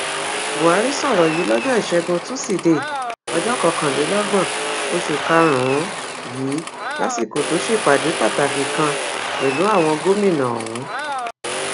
buhari sọrọ yìí lọjọ ìṣẹgun tusidee ọjọ kọkànlélọgbọn oṣù karùnún yìí lásìkò tó ṣèpàdé pàtàkì kan pẹlú àwọn gómìnà ọhún